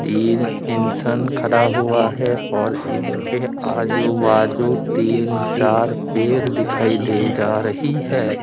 तीन इंसान खड़ा हुआ है और इसके आजू बाजू तीन चार पेर दिखाई दे जा रही है।